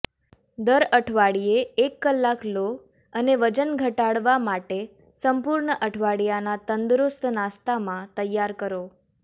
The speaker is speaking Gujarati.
દર અઠવાડિયે એક કલાક લો અને વજન ઘટાડવા માટે સંપૂર્ણ અઠવાડિયાના તંદુરસ્ત નાસ્તામાં તૈયાર કરો